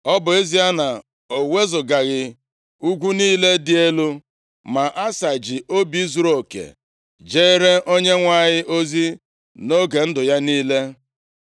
Ọ bụ ezie na o wezugaghị ugwu niile dị elu, ma Asa ji obi zuruoke jere Onyenwe anyị ozi nʼoge ndụ ya niile.